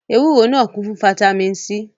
Ewúro náà kún fún fataímìn C.